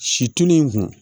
Situlu in kun